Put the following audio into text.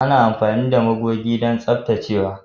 Ana amfani da magogi don tsaftacewa.